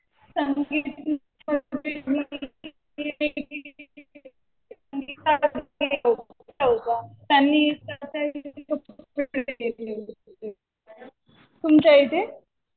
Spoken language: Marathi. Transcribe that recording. त्यांनी तुमच्या इथे?